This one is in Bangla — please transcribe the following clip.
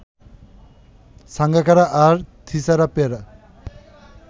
সাঙ্গাকারা আর থিসারা পেরেরা